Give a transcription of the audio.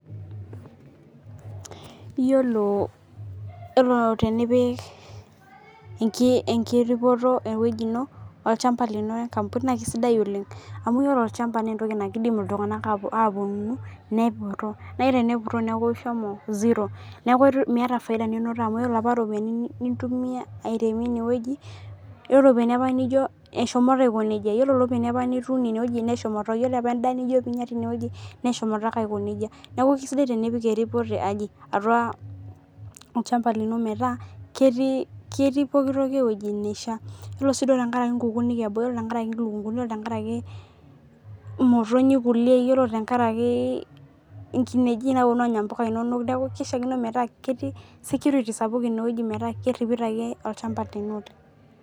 Iyiolo tenipik enkiropoto eweji ino olchamba lini ee nkapuni naa kisidai oleng', amu ore olchamba naa engokii kidim iltung'ana aetu nepuro naa tenepuro neeku ishomo zero neeku meeta faida ninoto amu ore napa ropiani ninoto nintumia aremia ineweji ore ropiani nijo apaa eshomoto aiko neija ore ropiani apa nitunie ineweji neshomoto ore apa edaa nijo pinya tineweji neshomoto ake aiko neija. Neeku kisidai tenipik eripoto atua olchamba lino meeta keetii pookin toki eweji naishaa. Ore sii tankarakiii nkukunik tankaraki lukunguni tankaraki imotonyi kulie inkenji napuonu anya mpuka inonok neeku kishaikino peeku keeti security sapuk ineweji meeta keripito ake olchamba lino aiko neija